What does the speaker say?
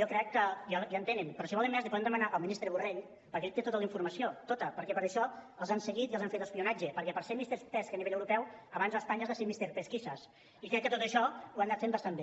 jo crec que ja en tenen però si en volen més la hi poden demanar al ministre borrell perquè ell té tota la informació tota perquè per això els han seguit i els han fet espionatge perquè per ser misterropeu abans a espanya has de ser mister pesquisas i crec que tot això ho han anat fent bastant bé